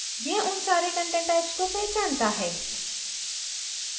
यह उन सारे content types को पहचानता है